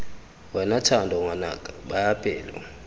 wena thando ngwanaka baya pelo